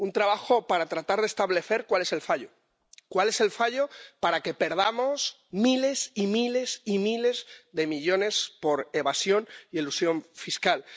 un trabajo para tratar de establecer cuál es el fallo para que perdamos miles y miles y miles de millones por evasión y elusión fiscales.